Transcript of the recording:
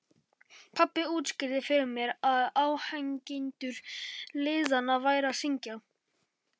Pabbi útskýrði fyrir mér að áhangendur liðanna væru að syngja.